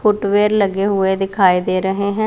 Foot wear लगे हुए दिखाई दे रहे हैं।